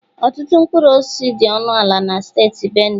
Ọtụtụ mkpụrụ osisi dị ọnụ ala na steeti Benue.